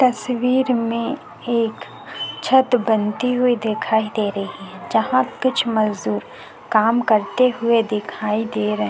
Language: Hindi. तस्वीर में एक छत बनती हुई दिखाई दे रही है जहां कुछ मजदुर काम करते हुए दिखाई दे रहै--